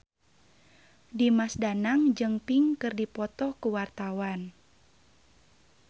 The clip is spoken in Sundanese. Dimas Danang jeung Pink keur dipoto ku wartawan